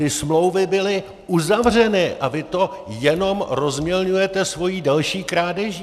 Ty smlouvy byly uzavřeny a vy to jenom rozmělňujete svojí další krádeží.